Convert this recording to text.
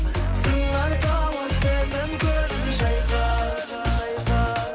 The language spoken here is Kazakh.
сыңар тауып сезім көлін шайқа